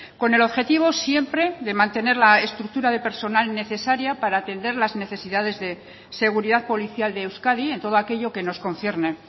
con el objetivo siempre de mantener la estructura de personal necesaria para atender las necesidades de seguridad policial de euskadi en todo aquello que nos concierne